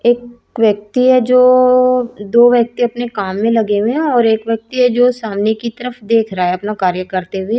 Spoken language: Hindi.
एक व्यक्ति है जो दो व्यक्ति अपने काम में लगे हुए हैं और एक व्यक्ति जो सामने की तरफ देख रहा है अपना कार्य करते हुए--